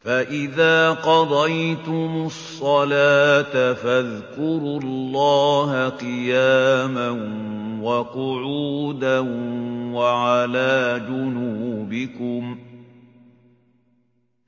فَإِذَا قَضَيْتُمُ الصَّلَاةَ فَاذْكُرُوا اللَّهَ قِيَامًا وَقُعُودًا وَعَلَىٰ جُنُوبِكُمْ ۚ